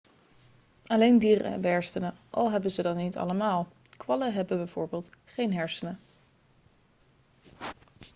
alleen dieren hebben hersenen al hebben ze dat niet allemaal; kwallen hebben bijvoorbeeld geen hersenen